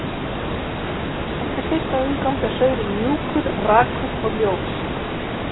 Eftir fyrsta umgang er saurinn mjúkur, rakur og ljós.